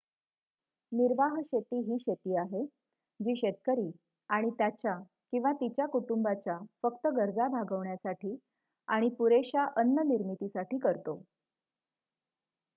निर्वाह शेती ही शेती आहे जी शेतकरी आणि त्याच्या/तिच्या कुटुंबाच्या फक्त गरजा भागविण्यासाठी आणि पुरेश्या अन्न निर्मितीसाठी करतो